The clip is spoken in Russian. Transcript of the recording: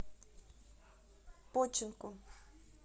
починку